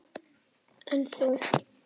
En þú?